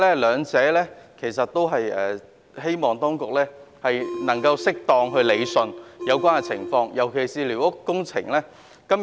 我希望當局能夠適當理順有關情況，尤其是在寮屋方面。